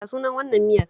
Ya sunan wannan miyar?